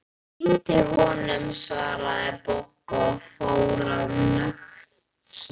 Ég týndi honum svaraði Bogga og fór að snökta.